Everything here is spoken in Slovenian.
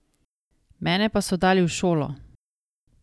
Mene pa so dali v šolo.